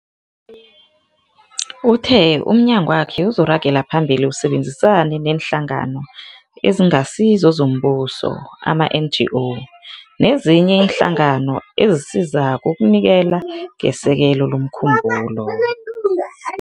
Uthe umnyangwakhe uzokuragela phambili usebenzisane neeNhlangano eziNgasizo zoMbuso, ama-NGO, nezinye iinhlangano ezisizako ukunikela ngesekelo lomkhumbulo.